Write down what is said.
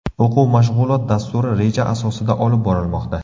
O‘quv-mashg‘ulot dasturi reja asosida olib borilmoqda.